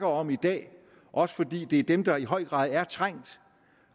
om i dag også fordi det er dem der i høj grad er trængt